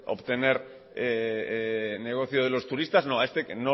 obtener negocio de los turistas no a este